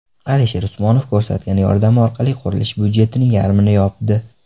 Alisher Usmonov ko‘rsatgan yordami orqali qurilish budjetining yarmini yopdi.